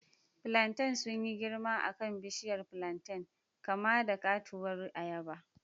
Plantains sun yi girma a kan bishiyar plantain, kama da katuwar ayaba.